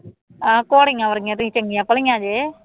ਆਪ ਘੋੜੀਆਂ ਵਰਗੀਆਂ ਅਤੇ ਚੰਗੀਆਂ ਭਲੀਆਂ ਜੇ